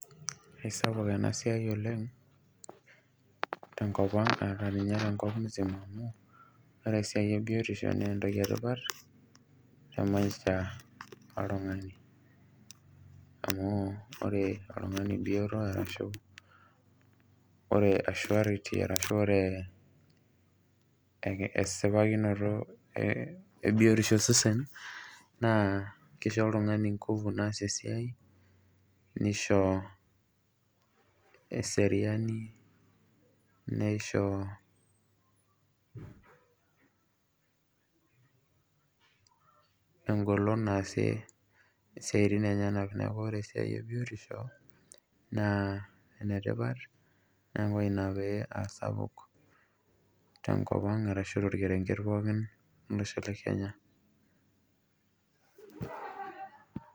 Isapuk enasiai oleng tenkopang ashu ninye tenkop musima .Ore esiai ebiotisho naa entoki etipat temaisha oltungani amu ore oltungani bioto ashu ore asurerity ashu ore esipakinoto ebiotisho osesen naa kisho oltungani nguvu naasie esiai , nisho eseriani , nisho engolon naasie isiatin enyenak . Niaku ore esiai ebiotisho naa enetipat niaku ina paa sapuk tenkopang ashu torkerenket pookin ashu tolosho lekenya.